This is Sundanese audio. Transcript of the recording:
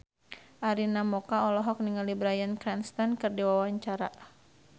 Arina Mocca olohok ningali Bryan Cranston keur diwawancara